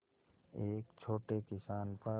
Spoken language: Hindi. एक छोटे किसान पर